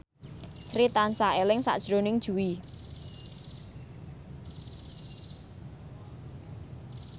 Sri tansah eling sakjroning Jui